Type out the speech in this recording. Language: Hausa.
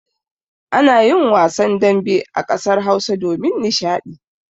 Ana yin wasan dambe a ƙasar Hausa domin nishaɗi.